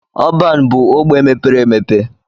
Ọban bu ogbe mepere emepe.